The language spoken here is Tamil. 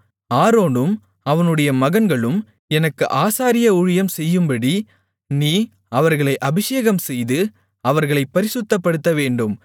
ஆரோனும் அவனுடைய மகன்களும் எனக்கு ஆசாரிய ஊழியம் செய்யும்படி நீ அவர்களை அபிஷேகம்செய்து அவர்களைப் பரிசுத்தப்படுத்தவேண்டும்